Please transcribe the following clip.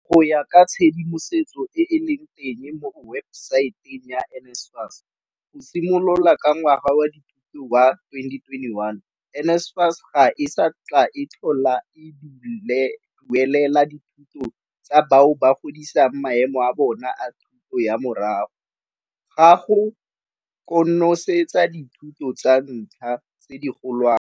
Go ya ka tshedimosetso e e leng teng mo webesaeteng ya NSFAS, go simolola ka ngwaga wa dithuto wa 2021, NSFAS ga e sa tla tlhole e duelela dithuto tsa bao ba godisang maemo a bona a thuto ya morago ga go konosetsa dithuto tsa ntlha tse digolwane.